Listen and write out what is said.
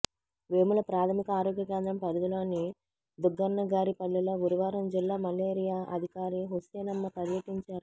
వేముల ప్రాధమిక ఆరోగ్య కేంద్రం పరిధిలోని దుగ్గన్నగారిపల్లెలో గురువారం జిల్లా మలేరియా అధికారి హుసేనమ్మ పర్యటించారు